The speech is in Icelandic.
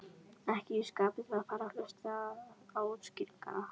Ekki í skapi til að fara að hlusta á útskýringar.